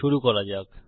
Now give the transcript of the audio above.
শুরু করা যাক